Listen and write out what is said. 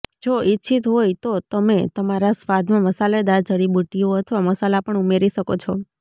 જો ઇચ્છિત હોય તો તમે તમારા સ્વાદમાં મસાલેદાર જડીબુટ્ટીઓ અથવા મસાલા પણ ઉમેરી શકો છો